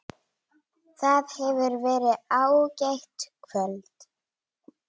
Það hefur verið ágætt kvöld.